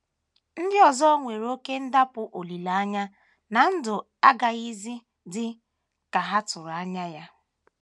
Ndị ọzọ nwere oké ndakpọ olileanya na ndụ agazighị dị ka ha tụrụ anya ya.